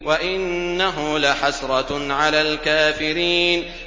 وَإِنَّهُ لَحَسْرَةٌ عَلَى الْكَافِرِينَ